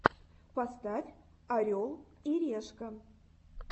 поставь орел и решка